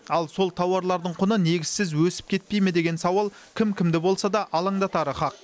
ал сол тауарлардың құны негізсіз өсіп кетпей ме деген сауал кім кімді болса да алаңдатары хақ